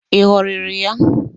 Ị ghọrịrị ya?